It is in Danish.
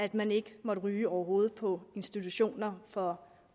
at man ikke må ryge overhovedet på institutioner for